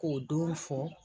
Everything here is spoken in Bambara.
K'o don fɔ.